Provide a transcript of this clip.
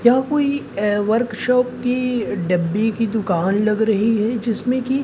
यह कोई वर्कशॉप की डब्बी की दुकान लग रही है जिसमें की--